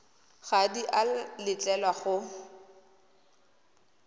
ga di a letlelelwa go